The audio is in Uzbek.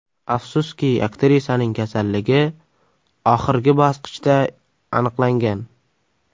Afsuski, aktrisaning kasalligi oxirgi bosqichda aniqlangan.